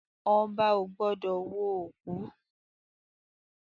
Ọba ò gbọ́dọ̀ wo òkú